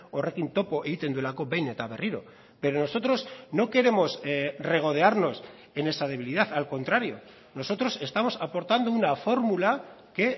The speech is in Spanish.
horrekin topo egiten duelako behin eta berriro pero nosotros no queremos regodearnos en esa debilidad al contrario nosotros estamos aportando una fórmula que